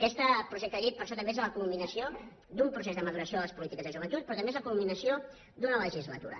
aquest projecte de llei per això també és la culminació d’un procés de maduració de les polítiques de joventut però també és la culminació d’una legislatura